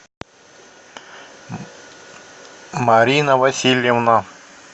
марина васильевна